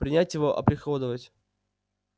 принять его оприходовать